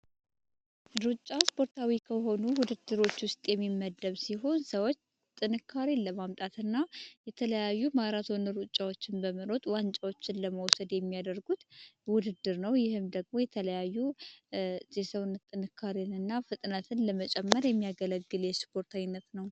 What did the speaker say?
ሩጫ ስፖርታዊ ከሆኑት ውስጥ የሚመደብ ሲሆን ሰዎች ጥንካሬ ለማምጣትና የተለያዩ ዋንጫዎችን ለመውሰድ የሚያደርጉት ውድድር ነው ይህም ደግሞ የተለያዩ የሰውነት ጥንካሬን እና ፍጥነትን ለመጨመር የሚያገለግል የስፖርታዊት ነው